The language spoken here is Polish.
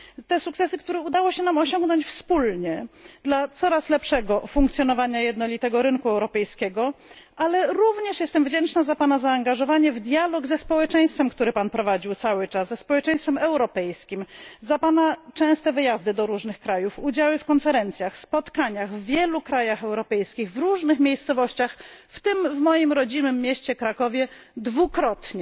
Te sukcesy, które udało się nam osiągnąć wspólnie dla coraz lepszego funkcjonowania rynku europejskiego, ale również jestem wdzięczna za Pana zaangażowanie w dialog ze społeczeństwem europejskim, który Pan prowadził cały czas, za Pana częste wyjazdy do różnych krajów, udziały w konferencjach, w spotkaniach w wielu krajach europejskich, w różnych miejscowościach, w tym w moim rodzinnym mieście Krakowie dwukrotnie.